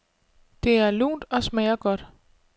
Det er lunt og smager godt.